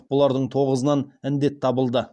бұлардың тоғызынан індет табылды